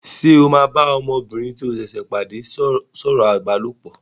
Ṣé o máa bá ọmọbìnrin tí o ṣẹ̀ pàdé sọ̀rọ̀ ìbálòpọ̀?